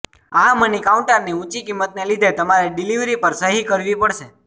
આ મની કાઉન્ટરની ઊંચી કિંમતને લીધે તમારે ડિલિવરી પર સહી કરવી પડશે